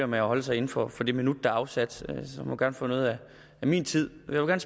med at holde sig inden for for det minut der er afsat må gerne få noget af min tid jeg vil